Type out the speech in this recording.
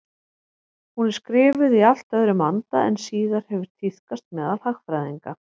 Hún er skrifuð í allt öðrum anda en síðar hefur tíðkast meðal hagfræðinga.